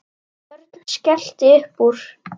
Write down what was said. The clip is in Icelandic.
Örn skellti upp úr.